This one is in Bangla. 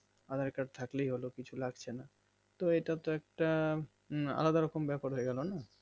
aadher card থাকলেই হলো কিছু লাগছেনা তো এটা তো একটা আলাদা রকম ব্যাপার হয়ে গেলনা